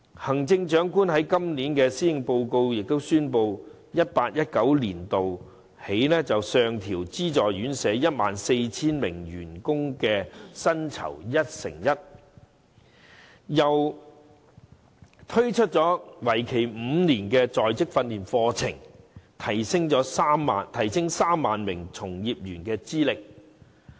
行政長官在今年的施政報告亦宣布，由 2018-2019 年度起，上調資助院舍 14,000 名員工的薪酬一成一，又推出為期5年的在職訓練課程，提升3萬名從業員資歷。